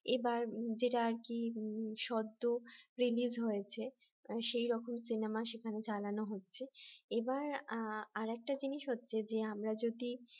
এবার যেটা আর কি সদ্য release হয়েছে সেই রকম সিনেমা সেখানে চালানো হচ্ছে এবার আরেকটা জিনিস হচ্ছে যে আমরা যদি